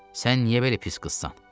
Sən niyə belə pis qızsan?